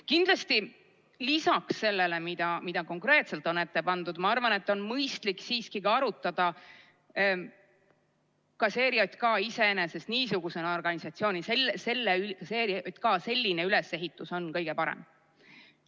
Kindlasti lisaks sellele, mida konkreetselt on ette pandud, ma arvan, et on mõistlik siiski ka arutada, kas ERJK selline ülesehitus on kõige parem.